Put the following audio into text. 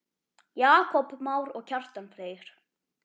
Jakob Már og Kjartan Freyr.